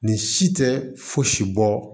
Nin si tɛ fosi bɔ